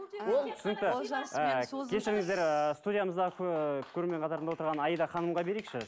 ол түсінікті ы кешіріңіздер ыыы студиямыздағы ыыы көрермен қатарында отырған аида ханымға берейікші